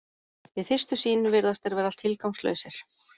Við fyrstu sýn virðast þeir vera tilgangslausir.